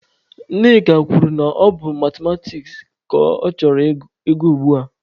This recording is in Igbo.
Nneka kwuru na ọ bụ Mathematiks ka ọ chọrọ ị gụ ugbua.